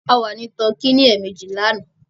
A wà ní tọkí lẹ́ẹ̀mejì lánàá